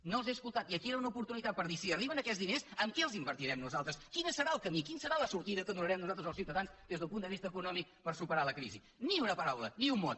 no els hem escoltat i aquí era una oportunitat per dir si arriben aquests diners en què els invertirem nosaltres quin serà el camí quina serà la sortida que donarem nosaltres als ciutadans des del punt de vista econòmic per superar la crisi ni una paraula ni un mot